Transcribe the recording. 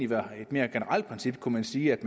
være et mere generelt princip kunne man sige at